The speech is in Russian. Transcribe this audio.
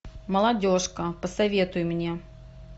молодежка посоветуй мне